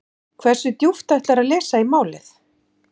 Hversu djúpt ætlarðu að lesa í málið?